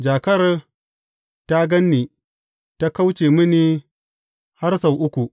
Jakar ta gan ni, ta kauce mini har sau uku.